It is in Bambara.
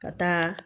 Ka taa